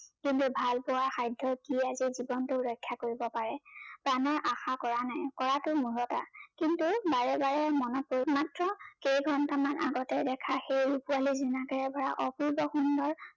কিন্তু ভাল পোৱাৰ সাধ্য ই আজি জীৱন ৰক্ষা কৰিব পাৰে প্ৰানৰ আশা কৰা নাই কৰাতো মূৰ্খতা কিন্তু বাৰে বাৰে মনতে মাত্ৰ কেই ঘণ্টা মান আগতে দেখা সেই অপূৰ্ব সুন্দৰ